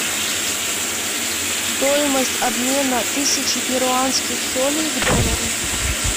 стоимость обмена тысячи перуанских солей к доллару